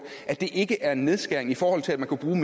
at det ikke er en nedskæring i forhold til at man kunne bruge